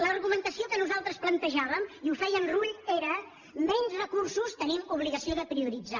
l’argumentació que nosaltres plantejàvem i ho feia en rull era menys recursos tenim obligació de prioritzar